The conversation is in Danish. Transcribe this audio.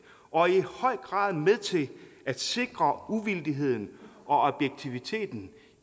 og er i høj grad med til at sikre uvildigheden og objektiviteten